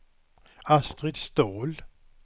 Astrid Ståhl